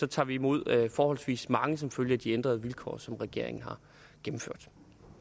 tager imod forholdsvis mange som følge af de ændrede vilkår som regeringen har gennemført